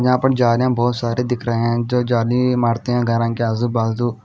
यहां पे जाले बहुत सारे दिख रहे हैं जो जाली मारते है घरा के आजू बाजू--